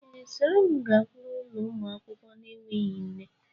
Ee, soro m gakwuru ụlo ụmụaka n'enweghi nne